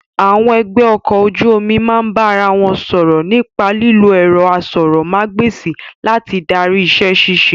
Àwọn ẹgbẹ́ ọkọ̀ ojú omi máa ń bá ara wọn sọ̀rọ̀ nípa lílo ẹ̀rọ asọ̀rọ̀mágb'èsì láti darí iṣẹ́ ṣíṣe